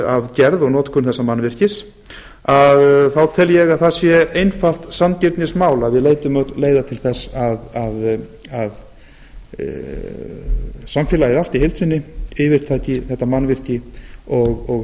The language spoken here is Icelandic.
af gerð og notkun þessa mannvirkis þá tel ég að það sé einfalt sanngirnismál að við leitum öll leiða til þess að samfélagið allt í heild sinni yfirtaki þetta mannvirki og sjái